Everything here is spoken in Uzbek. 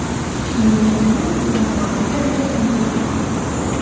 Shimoliy Koreya navbatdagi raketani uchirdi.